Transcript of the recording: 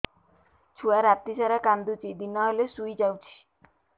ଛୁଆ ରାତି ସାରା କାନ୍ଦୁଚି ଦିନ ହେଲେ ଶୁଇଯାଉଛି